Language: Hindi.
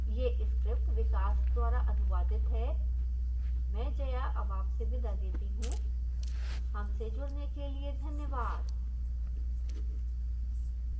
यह script विकास द्वारा अनुवादित हैं मैं जया अब आपसे विदा लेती हूँ